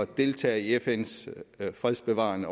deltage i fns fredsbevarende